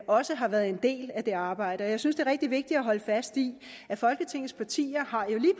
også har været en del af det arbejde jeg synes er rigtig vigtigt at holde fast i at folketingets partier